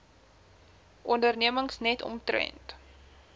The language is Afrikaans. ondernemings net omtrent